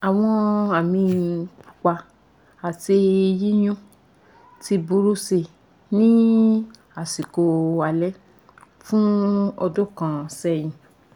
àwọn àmì pupa ati yíyún ti burú si ní àsìkò alẹ́ fún ọdún kan sẹ́yìn